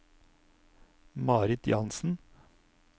Marit Jansen